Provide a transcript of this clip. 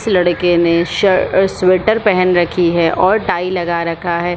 इस लड़के ने स स्वेटर पहेन रखी है और टाई लगा रखा है।